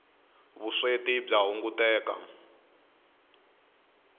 vusweti bya hunguteka